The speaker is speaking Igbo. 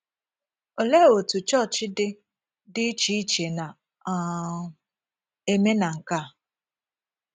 Olee otú chọọchị dị dị iche iche na um - eme na nke a?